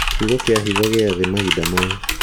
kiugo kĩa hitho gĩa thĩ mahinda maya